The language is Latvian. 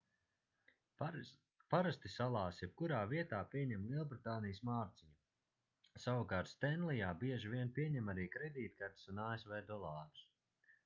parasti salās jebkurā vietā pieņem lielbritānijas mārciņu savukārt stenlijā bieži vien pieņem arī kredītkartes un asv dolārus